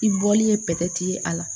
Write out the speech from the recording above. I bɔli ye ye a la